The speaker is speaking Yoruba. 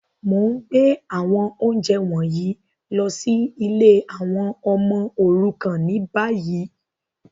Mo n gbé àwọn ounjẹ wọ̀nyí lọ si ìlé àwon ọmọ òrukàn ni bayi.